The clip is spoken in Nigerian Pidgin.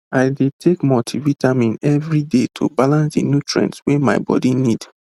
i dey take multivitamin every day to balance the nutrients wey my body need